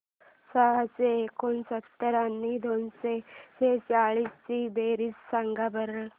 सहाशे एकोणसत्तर आणि दोनशे सेहचाळीस ची बेरीज सांगा बरं